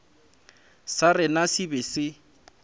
sa rena se be se